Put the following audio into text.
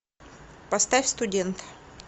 поставь студент